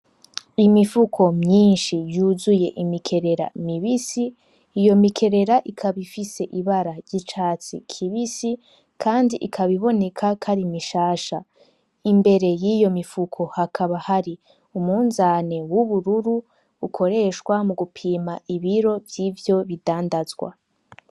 Imifuko myinshi yuzuye imikerera mibisi ,iyo mikerera ikaba ifise ibara y'icatsi kibisi ,kandi ikaba iboneka ko ari mishasha ,imbere yiyo mifuko hakaba hari umunzane w'ubururu ukoreshwa mu gupima ibiro vyivyo bidandazwa.